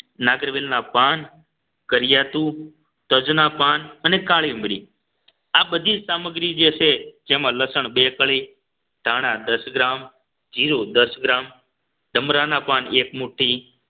નાગરવેલના પાન કર્યાતું તજના પાન અને કાળી મરી આ બધી સામગ્રી જે છે જેમાં લસણ બે કળી ધાણા દસ ગ્રામ જીરું દસ ગ્રામ ડમરાના પાન એક મુઠ્ઠી